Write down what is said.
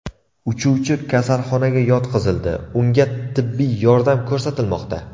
Uchuvchi kasalxonaga yotqizildi, unga tibbiy yordam ko‘rsatilmoqda.